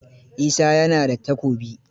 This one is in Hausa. Isa ya na da Takobi.